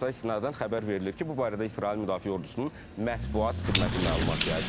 TASS-a istinadən xəbər verilir ki, bu barədə İsrail müdafiə ordusunun mətbuat xidməti məlumat yayıb.